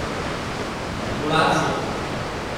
Manipulacije!